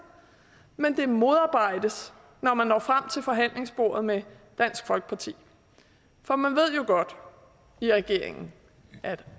men det modarbejdes når man når frem til forhandlingsbordet med dansk folkeparti for man ved jo godt i regeringen at